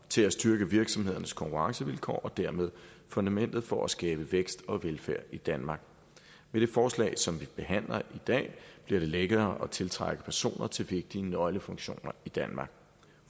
til at styrke virksomhedernes konkurrencevilkår og dermed fundamentet for at skabe vækst og velfærd i danmark med det forslag som vi behandler i dag bliver det lettere at tiltrække personer til vigtige nøglefunktioner i danmark